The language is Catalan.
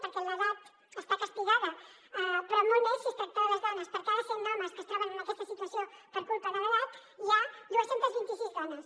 perquè l’edat està castigada però molt més si es tracta de les dones per cada cent homes que es troben en aquesta situació per culpa de l’edat hi ha dos cents i vint sis dones